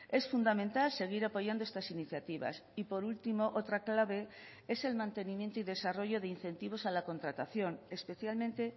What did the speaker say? es fundamental seguir apoyando estas iniciativas y por último otra clave es el mantenimiento y desarrollo de incentivos a la contratación especialmente